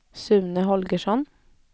Sune Holgersson